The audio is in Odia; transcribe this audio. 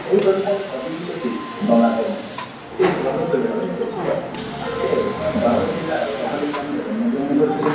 ଏହି କବିତାରେ କବି ହେଉଛନ୍ତି ଗଙ୍ଗାଧର ମେହର ସେ ସ୍ୱଭାବ କବି ଭାବରେ ପରିଚିତ ସେ ବରଗଡ଼ ଜିଲ୍ଲା ର ବରପାଲି ଗ୍ରାମ ଜନ୍ମ ଗ୍ରହଣ କରିଥିଲେ।